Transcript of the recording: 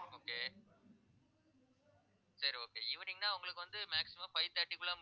okay சரி okay evening ன்னா உங்களுக்கு வந்து maximum five thirty க்குள்ளே